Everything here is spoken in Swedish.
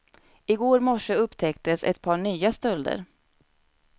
I går morse upptäcktes ett par nya stölder.